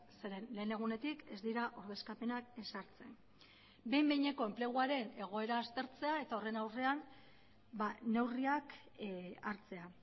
zeren lehen egunetik ez dira ordezkapenak ezartzen behin behineko enpleguaren egoera aztertzea eta horren aurrean neurriak hartzea